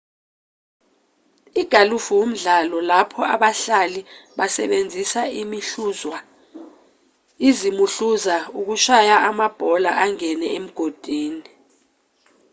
igalufu umdlalo lapho abahlali besebenzisa izimuhluza ukushaya amabhola angene emigodini